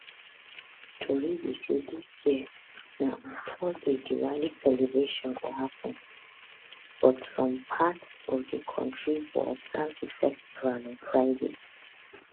tori be say dis year na on thursday diwali celebration go happun but some parts of di kontri go observe di festival on friday